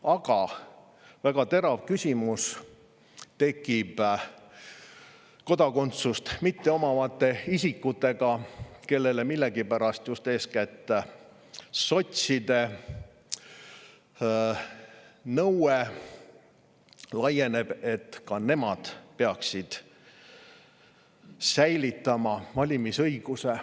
Aga väga terav küsimus tekib kodakondsust mitteomavate isikutega, kellele millegipärast laieneb just eeskätt sotside nõue, et ka nemad peaksid säilitama valimisõiguse.